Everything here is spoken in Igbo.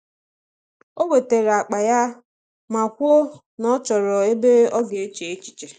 O wetara akpa ya ma kwuo na ọ chọrọ ebe ọ ga eche echiche.